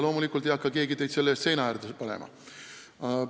Loomulikult ei hakka keegi teid selle eest seina äärde panema.